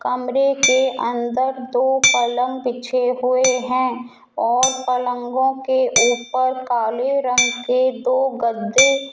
कमरे के अंदर दो पलंग बिछे हुए हैं और पलंगों के ऊपर काले रंग के दो गद्दे --